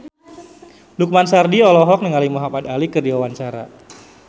Lukman Sardi olohok ningali Muhamad Ali keur diwawancara